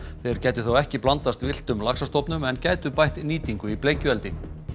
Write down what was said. þeir gætu þá ekki blandast villtum laxastofnum en gætu bætt nýtingu í bleikjueldi